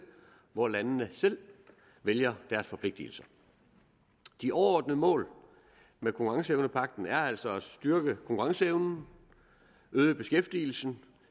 hvor landene selv vælger deres forpligtelser de overordnede mål med konkurrenceevnepagten er altså at styrke konkurrenceevnen øge beskæftigelsen